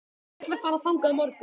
Ég ætla að fara þangað á morgun.